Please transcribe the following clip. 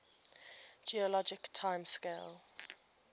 geologic time scale